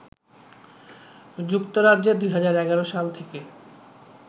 যুক্তরাজ্যে ২০১১ সাল থেকে